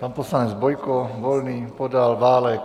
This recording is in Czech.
Pan poslanec Bojko, Volný, Podal, Válek?